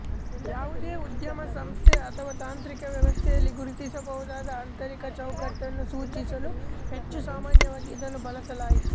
ಯಾವುದೇ ಉದ್ಯಮ ಸಂಸ್ಥೆ ಅಥವಾ ತಾಂತ್ರಿಕ ವ್ಯವಸ್ಥೆಯಲ್ಲಿ ಗುರುತಿಸಬಹುದಾದ ಆಂತರಿಕ ಚೌಕಟ್ಟನ್ನು ಸೂಚಿಸಲು ಹೆಚ್ಚು ಸಾಮಾನ್ಯವಾಗಿ ಇದನ್ನು ಬಳಸಲಾಯಿತು